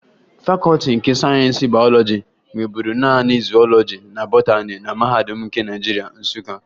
Fakọọti nke Sayensị Bayọlọji nweburu naanị zuwọlọji na botani na Mahadum nke Naịjirịa, Nsụka